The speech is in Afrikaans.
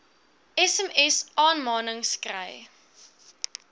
sms aanmanings kry